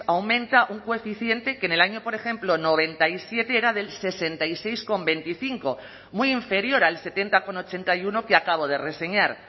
aumenta un coeficiente que en el año por ejemplo noventa y siete era del sesenta y seis coma veinticinco muy inferior al setenta coma ochenta y uno que acabo de reseñar